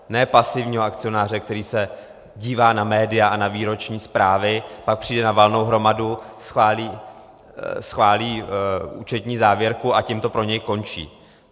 Ne pasivního akcionáře, který se dívá na média a na výroční zprávy, pak přijde na valnou hromadu, schválí účetní závěrku a tím to pro něj končí.